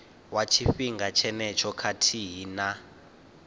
wa tshifhinga tshenetsho khathihi na